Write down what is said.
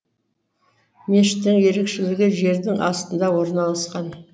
мешіттің ерекшелігі жердің астында орналасуы